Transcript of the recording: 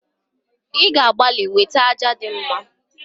i ga-agbali wete aja di mma